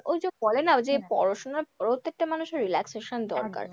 ঐযে বলে না ঐ যে পড়াশোনার পরেও তো একটা মানুষের relaxation দরকার।